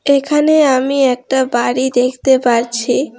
এখানে আমি একটা বাড়ি দেখতে পারছি।